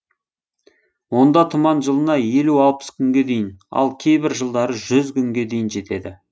онда тұман жылына елу алпыс күнге дейін ал кейбір жылдары жүз күнге жетеді